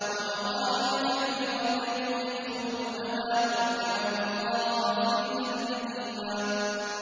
وَمَغَانِمَ كَثِيرَةً يَأْخُذُونَهَا ۗ وَكَانَ اللَّهُ عَزِيزًا حَكِيمًا